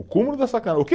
O cúmulo da o quê